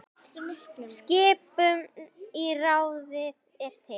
Skipun í ráðið er til